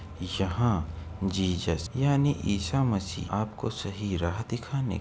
यहाँ जीसस यानी ईसा मसीह आपको सही राह दिखाने के लिए --